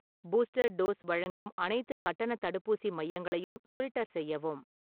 booster dose வழங்கும் அனைத்துக் கட்டணத் தடுப்பூசி மையங்களையும் ஃபில்டர் செய்யவும்